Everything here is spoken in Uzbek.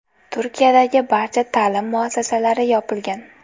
Turkiyadagi barcha ta’lim muassasalari yopilgan .